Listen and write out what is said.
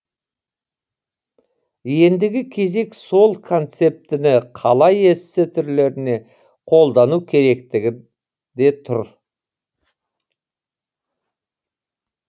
ендігі кезек сол концептіні қалай эссе түрлеріне қолдану керектігінде тұр